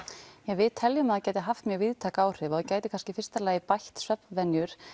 við teljum að það gæti haft mjög víðtæk áhrif og það gæti kannski í fyrsta lagi bætt svefnvenjur